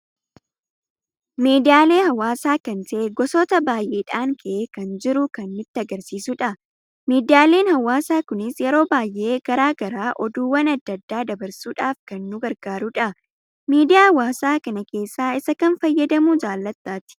Miidiyaalee hawaasa kan ta'e goosota baay'eedhan ka'ee kan jiru kan nutti agarsiisudha. Miiddiyaaleen hawaasa kunis yeroo baay'ee karaa garagaraa oduuwwaan adda, addaa dabarsuudhaf kan nu gargaruudha. Miidiyaa hawaasa kana keessa isa kam fayyadamu jaallatta ati?